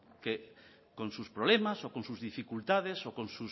que con sus problemas o con sus dificultades